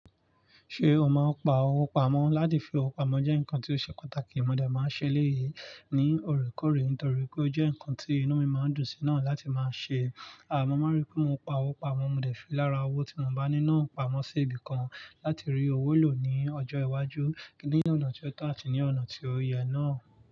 Ṣé o máa ń pa owó pamọ́ láti fi owó pamọ́ jẹ́ ǹkan tí ó ṣe pàtàkì, mo de máa ń ṣe eléyìí ní òorékòórè nítorí pé ó jẹ́ nkan tí inú mi máa ń dùn sí náà láti máa ṣe. Mọ́ máa n rí pé mo pa owó pamọ́, mo de fi lára owó tí mo bá ní náà pamọ́ sí ibìkan láti rí owó lò ní ọjọ́ iwájú, ní ọ̀nà tí ọ̀ to àti ní ọ̀nà tí oyè náà.